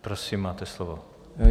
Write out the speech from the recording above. Prosím, máte slovo.